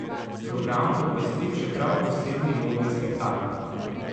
Program bo popestril še prav posebni modni spektakel.